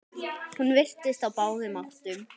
Hún virtist á báðum áttum.